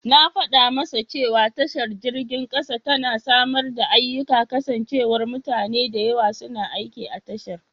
Na fada masa cewa tashar jirgin kasa tana samar da ayyika kasancewar mutane da yawa suna aiki a tashar.